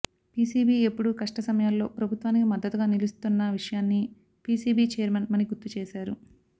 PCB ఎప్పుడూ కష్ట సమయాల్లో ప్రభుత్వానికి మద్దతుగా నిలుస్తున్న విషయాన్ని పీసీబీ చైర్మన్ మణి గుర్తుచేశారు